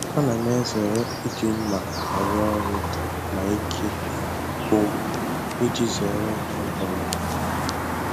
Ana m ezere iji mma arụ ọrụ ma ike gwụm iji zere ihe mberede